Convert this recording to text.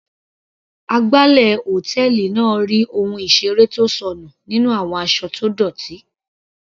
Agbálẹ̀ hòtẹ́ẹ̀lì náà rí ohun ìseré tó sọnù nínú àwọn aṣọ tó dọ́tì.